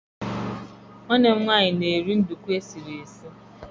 nwanne m nwanyi na-eri nduku sie.